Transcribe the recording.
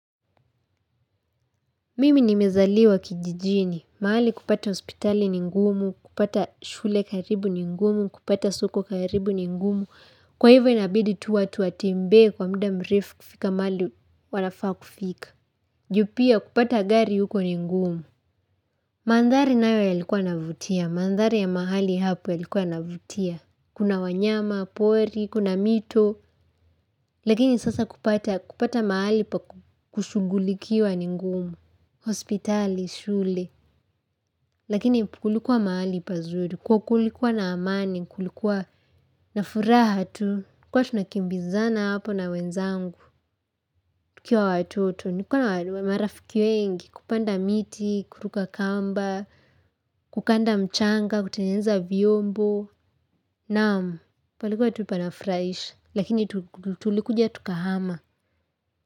Mimi nimezaliwa kijijini, mahali kupata hospitali ni ngumu, kupata shule karibu ni ngumu, kupata soko karibu ni ngumu, kwa hivo inabidi tu watu watembee kwa muda mrefu kufika mahali wanafaa kufika. Juu pia kupata gari huko ni ngumu. Mandhari nayo yalikuwa navutia, mandhari ya mahali hapo yalikuwa yanavutia. Kuna wanyama pori, kuna mito, lakini sasa kupata mahali pa kushughulikiwa ni ngumu. Hospitali, shule Lakini kulikuwa mahali pazuri kwa kulikuwa na amani kulikuwa na furaha tu tulikuwa na tunakimbizana hapo na wenzangu tukiwa watoto nilikuwa na marafiki wengi kupanda miti, kuruka kamba Kukanda mchanga kutengeneza vyombo Naam, palikuwa tu panafurahisha Lakini tulikuja tukahama.